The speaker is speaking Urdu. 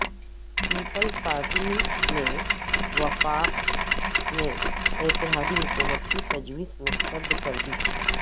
پیپلز پارٹی نے وفاق میں اتحادی حکومت کی تجویز مسترد کردی